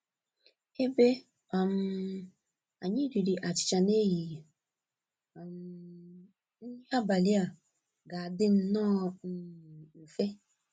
Ebe um anyị riri achịcha n'ehihie, um nri abalị a ga-adị nnọọ um mfe.